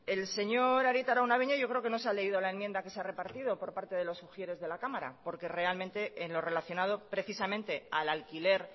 el señor arieta araunabeña yo creo que no se ha leído la enmienda que se ha repartido por parte de los de la cámara porque realmente en lo relacionado precisamente al alquiler